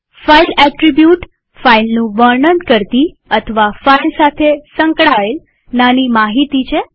file attribute ફાઈલનું વર્ણન કરતી અથવા ફાઈલ સાથે સંકળાયેલ નાની માહિતી છે